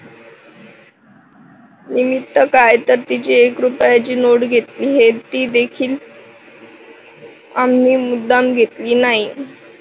निमित्त काय तर तिची एक रुपयाची नोट घेतली हे ती देखील आम्ही मुद्दाम घेतली नाही.